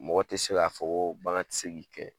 Mɔgɔ tɛ se k'a fɔ ko bagan tɛ se k'i kɛɲɛ.